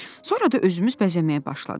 Sonra da özümüz bəzəməyə başladıq."